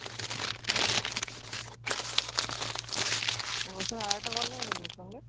ওর সঙ্গে আরেকটা কল নেবে নাকি ওর সঙ্গে?